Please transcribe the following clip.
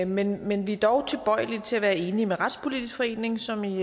men men vi er dog tilbøjelige til at være enige med retspolitisk forening som i